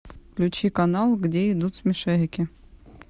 включи канал где идут смешарики